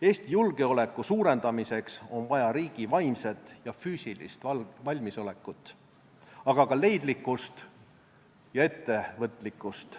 Eesti julgeoleku suurendamiseks on vaja riigi vaimset ja füüsilist valmisolekut, aga ka leidlikkust ja ettevõtlikkust.